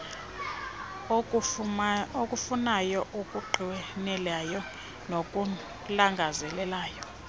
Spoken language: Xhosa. okufunayo okunqwenelayo nokulangazelelayo